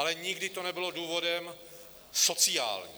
Ale nikdy to nebylo důvodem sociálním.